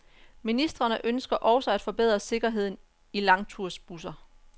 Ministrene ønsker også at forbedre sikkerheden i langtursbusser.